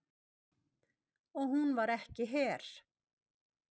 Og hún var ekki her.